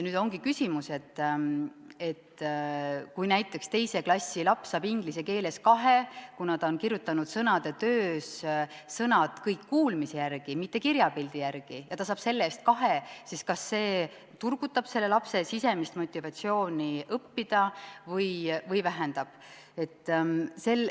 Nüüd ongi küsimus, et kui näiteks teise klassi laps saab inglise keeles hindeks kahe, kuna ta on kirjutanud sõnad kõik kuulmise järgi, mitte kirjapildi järgi, siis kas see turgutab selle lapse sisemist motivatsiooni õppida või vähendab seda.